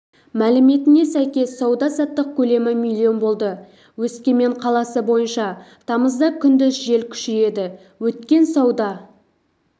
мәліметіне сәйкес сауда-саттық көлемі миллион болды өскемен қаласы бойынша тамызда күндіз жел күшейеді өткен сауда